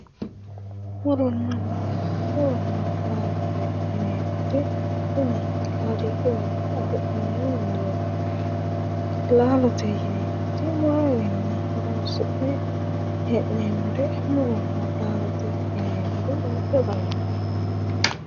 Muronna laallo, muronna laallo yinneemmoti tini kaaliiqiwi afi'noonni muro ,laallote yinneemmoti murowinni horonsi'ne hee'neemmore muronna laallote yineemmori kuri lawano.